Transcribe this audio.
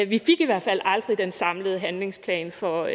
vi fik i hvert fald aldrig den samlede handlingsplan for